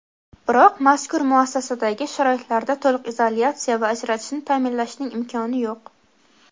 biroq mazkur muassasadagi sharoitlarda to‘liq izolyatsiya va ajratishni ta’minlashning imkoni yo‘q.